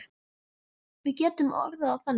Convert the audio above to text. Við getum orðað það þannig.